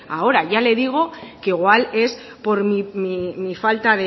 ahora ya le digo que igual es por mi falta